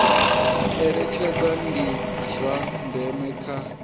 eletshedza ndi zwa ndeme kha